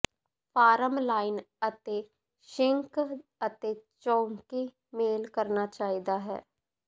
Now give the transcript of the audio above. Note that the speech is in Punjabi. ਫਾਰਮ ਲਾਈਨ ਅਤੇ ਸਿੰਕ ਅਤੇ ਚੌਕੀ ਮੇਲ ਕਰਨਾ ਚਾਹੀਦਾ ਹੈ